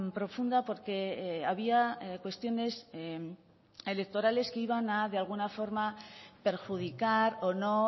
profunda porque había cuestiones electorales que iban a de alguna forma perjudicar o no